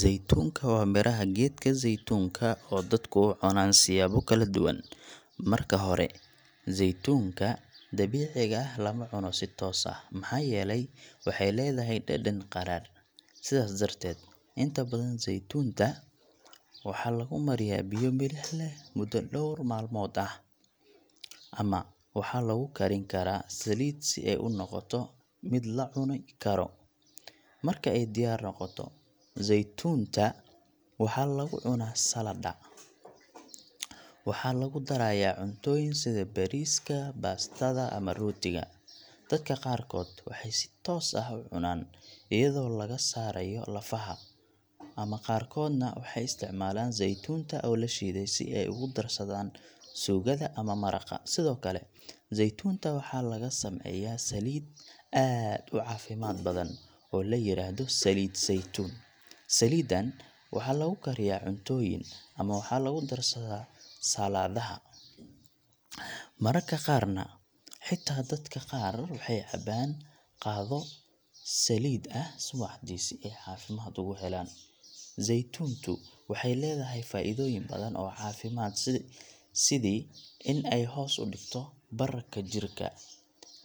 Zeytuunka waa midhaha geedka zeytuunka oo dadku u cunaan siyaabo kala duwan. Marka hore, zeytuunka dabiiciga ah lama cuno si toos ah, maxaa yeelay waxay leedahay dhadhan qadhaadh. Sidaas darteed, inta badan zeytuunta waxaa lagu mariyaa biyo milix leh muddo dhowr maalmood ah, ama waxaa lagu karin karaa saliid, si ay u noqoto mid la cuni karo. Marka ay diyaar noqoto, zeytuunta waxaa lagu cunaa saladha, waxaa lagu darayaa cuntooyinka sida bariiska, baastada, ama rootiga. Dadka qaarkood waxay si toos ah u cunaan iyadoo laga saarayo lafaha, ama qaarkoodna waxay isticmaalaan zeytuunta oo la shiiday si ay ugu darsadaan suugada ama maraqa. Sidoo kale, zeytuunta waxaa laga sameeyaa saliid aad u caafimaad badan oo la yiraahdo saliid saytuun. Saliidan waxaa lagu kariyaa cuntooyin, ama waxaa lagu darsadaa saladaha, mararka qaarna xitaa dadka qaar waxay cabaan qaado saliid ah subaxdii si ay caafimaad ugu helaan. Zeytuuntu waxay leedahay faa’iidooyin badan oo caafimaad sida in ay hoos u dhigto bararka jirka,